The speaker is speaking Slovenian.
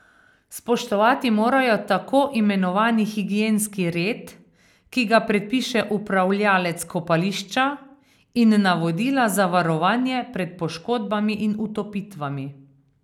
Spoštovati morajo tako imenovani higienski red, ki ga predpiše upravljavec kopališča, in navodila za varovanje pred poškodbami in utopitvami.